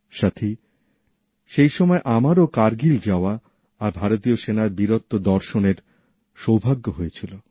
সাথী সেই সময় আমারও কার্গিল যাওয়া আর ভারতীয় সেনার বীরত্ব দর্শনের সৌভাগ্য হয়েছিল